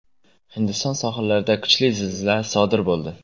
Hindiston sohillarida kuchli zilzila sodir bo‘ldi.